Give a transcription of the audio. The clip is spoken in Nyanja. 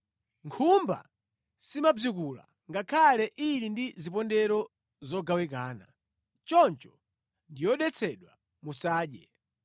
Nkhumba simabzikula ngakhale ili ndi zipondero zogawikana. Choncho ndi yodetsedwa, musadye.